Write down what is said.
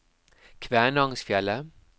Kvænangsfjellet